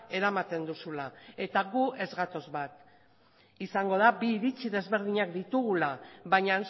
eramaten duzula eta gu ez gatoz bat izango da bi iritzi desberdinak ditugula baina